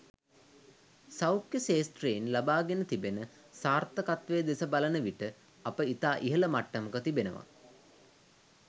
සෞඛ්‍ය ක්ෂේත්‍රයෙන් ලබාගෙන තිබෙන සාර්ථකත්වය දෙස බලන විට අප ඉතා ඉහළ මට්ටමක තිබෙනවා.